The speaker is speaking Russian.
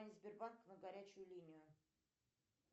сбербанк на горячую линию